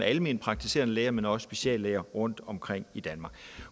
almenpraktiserende læger men også speciallæger rundtomkring i danmark